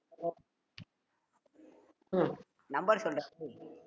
number சொல்லுடா